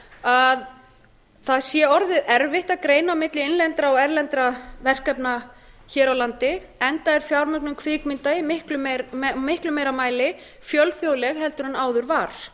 að það sé orðið erfitt að greina á milli innlendra og erlendra verkefna hér á landi enda er fjármögnun kvikmynda í miklu meira mæli fjölþjóðleg heldur en áður var